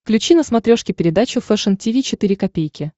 включи на смотрешке передачу фэшн ти ви четыре ка